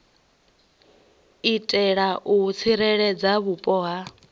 itela u tsireledza vhupo nga